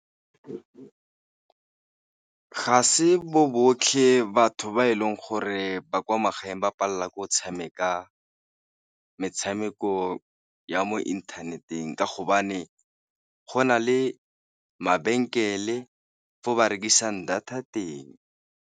Ga se bo botlhe batho ba e leng gore ba kwa magaeng ba palelwa ke go tshameka metshameko ya mo inthaneteng, ka hobane go na le mabenkele fo ba rekisang data teng.